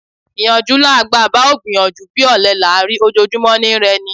Ìyànjú là ń gbà: bá ò gbìyànjú bí, ọ̀lẹ là ń rí: ojojúmọ́ ni I rẹ ni.